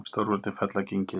Stórveldin fella gengið